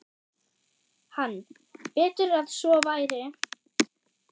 Hann: Betur að svo væri.